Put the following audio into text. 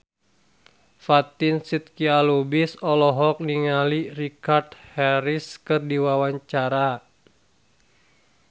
Fatin Shidqia Lubis olohok ningali Richard Harris keur diwawancara